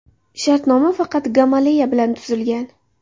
Shartnoma faqat Gamaleya bilan tuzilgan.